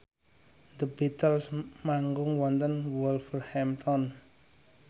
The Beatles manggung wonten Wolverhampton